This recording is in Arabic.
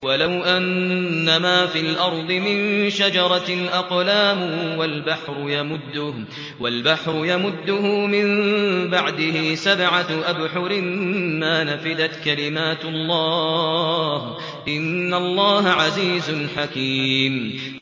وَلَوْ أَنَّمَا فِي الْأَرْضِ مِن شَجَرَةٍ أَقْلَامٌ وَالْبَحْرُ يَمُدُّهُ مِن بَعْدِهِ سَبْعَةُ أَبْحُرٍ مَّا نَفِدَتْ كَلِمَاتُ اللَّهِ ۗ إِنَّ اللَّهَ عَزِيزٌ حَكِيمٌ